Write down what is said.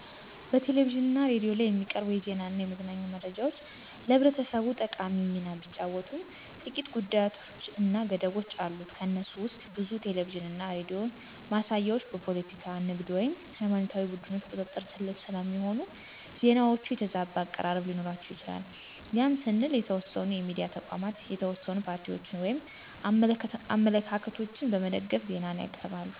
በቴሌቪዥን እና ሬዲዮ ላይ የሚቀርቡ የዜና እና የመዝናኛ መረጃዎች ለህብረተሰቡ ጠቃሚ ሚና ቢጫወትም ጥቂት ጉዳቶች እና ገደቦች አሉት። ከነሱም ውስጥ ብዙ ቴሌቪዥን እና ሬዲዮ ማሳያዎች በፖለቲካ፣ ንግድ ወይም ሃይማኖታዊ ቡድኖች ቁጥጥር ስር ስለሚሆኑ፣ ዜናዎቹ የተዛባ አቀራረብ ሊኖራቸው ይችላል ያም ስንል የተወሰኑ የሚዲያ ተቋማት የተወሰኑ ፓርቲዎችን ወይም አመለካከቶችን በመደገፍ ዜናን ያቅርባሉ።